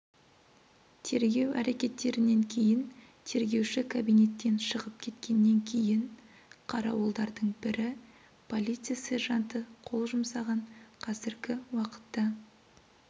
тергеу әрекеттерінен кейін тергеуші кабинеттен шығып кеткеннен кейін қарауылдардың бірі полиция сержанты қол жұмсаған қазіргі уақытта